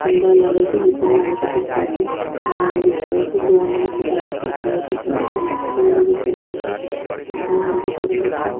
खम्बा लागल छै जे पे लाईट दिख रहल छै ग्राउंड दिख रहल छै ग्राउंड में छोटा हरियरका घास दिख रहल छै पेड़ दिख रहल छै आसमान दिख रहल छै।